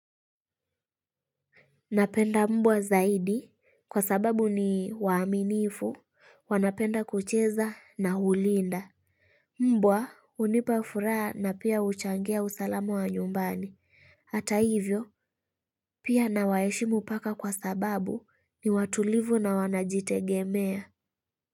Napenda mbwa zaidi kwa sababu ni waaminifu wanapenda kucheza na hulinda. Mbwa unipa furaha na pia huchangia usalama wa nyumbani. Hata hivyo pia nawaeshimu paka kwa sababu ni watulivu na wanajitegemea.